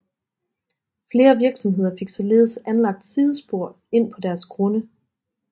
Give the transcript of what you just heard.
Flere virksomheder fik således anlagt sidespor ind på deres grunde